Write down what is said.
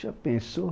Já pensou?